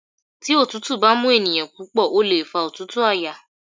Tí òtútù bá mú ènìyàn púpọ̀ ó lè fa òtútù àyà.